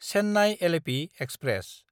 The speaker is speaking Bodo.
चेन्नाय–एलेपि एक्सप्रेस